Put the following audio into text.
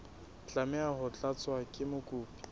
tlameha ho tlatswa ke mokopi